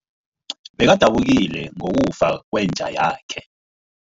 Bekadabukile ngokufa kwenja yakhe.